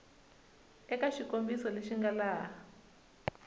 eka xikombiso lexi nga laha